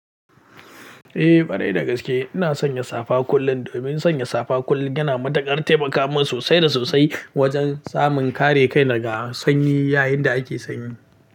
Eh, kwarai da gaske ina sanya safa kullum. Domin sanya safa kullum yana matakar taimaka min sosai da sosai wajen samun kare kai daga sanyi yayin da ake sanyi.